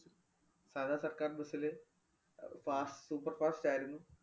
സാദാ സര്‍ക്കാര്‍ bus ല് ആഹ് fast super fast ആയിരുന്നു.